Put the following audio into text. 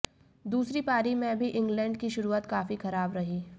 दूसरी पारी में भी इंग्लैंड की शुरुआत काफी खराब रही